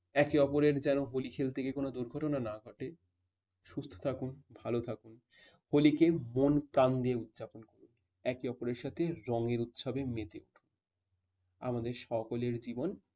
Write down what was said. একে অপরের যেন হলি খেলতে গিয়ে কোন দুর্ঘটনা না ঘটে। সুস্থ থাকুন ভালো থাকুন। হলি কে মন প্রাণ দিয়ে উদযাপন করুন। একে অপরের সাথে রঙের উৎসবে মেতে উঠুন। আমাদের সকলের জীবন